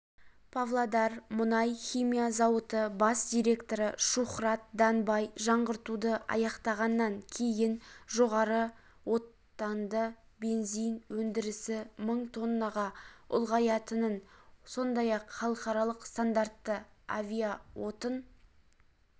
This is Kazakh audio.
павлодар мұнай-химия зауыты бас директоры шухрат данбай жаңғыртуды аяқтағаннан кейін жоғары октанды бензин өндірісі мың тоннаға ұлғаятынын сондай-ақ халықаралық стандартты авиаотын